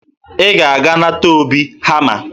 Ị ga-aga nata Obi hama